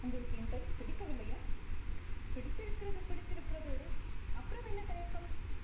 உங்களுக்கு என் பெயர் பிடிக்கவில்லையா பிடித்திருக்கிறது பிடித்திருக்கிறது அப்புறம் என்ன தயக்கம்